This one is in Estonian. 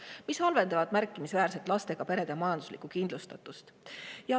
See kõik halvendab märkimisväärselt lastega perede majanduslikku kindlustatust.